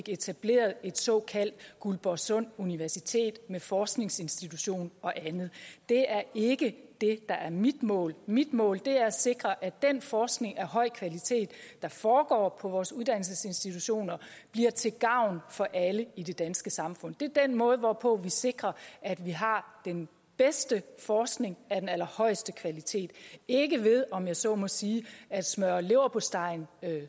etableret et såkaldt guldborgsund universitet med forskningsinstitution og andet det er ikke det der er mit mål mit mål er at sikre at den forskning af høj kvalitet der foregår på vores uddannelsesinstitutioner bliver til gavn for alle i det danske samfund det er den måde hvorpå vi sikrer at vi har den bedste forskning af den allerhøjeste kvalitet ikke ved om jeg så må sige at smøre leverpostejen